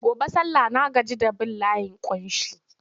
Gobe sallah na gaji da bin layin ƙunshi.